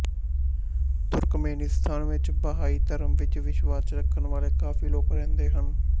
ਤੁਰਕਮੇਨਿਸਤਾਨ ਵਿੱਚ ਬਹਾਈ ਧਰਮ ਵਿੱਚ ਵਿਸ਼ਵਾਸ ਰੱਖਣ ਵਾਲੇ ਕਾਫ਼ੀ ਲੋਕ ਰਹਿੰਦੇ ਹਨ